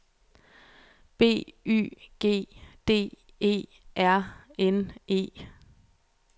B Y G D E R N E